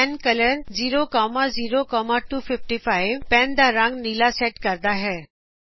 pen colour pen ਨੂੰ ਨੀਲੇ ਰੰਗ ਵਿਚ ਬਦਲਦਾ ਹੈ